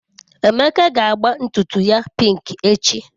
Emeka ga agba ntutu ya pink echi.